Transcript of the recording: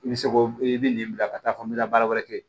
I bɛ se k'o i bɛ nin bila ka taa fɔ n bɛ taa baara wɛrɛ kɛ